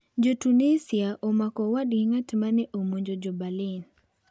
Jo-Tunisia omako owadgi ng'at ma ne omonjo jo Berlin